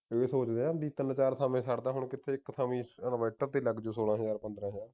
ਇਹ ਸੋਚਦੇ ਆ ਬਈ ਤਿੰਨ ਚਾਰ ਥਾਵੇਂ ਛੱਡ ਦਵਾਂ ਹੁਣ ਕਿੱਥੇ ਇੱਕ ਥਾਵੇਂ inverter ਤੇ ਲੱਗ ਜਾਊ ਸੋਲਾਂ ਹਜਾਰ ਪੰਦਰਾਂ ਹਜਾਰ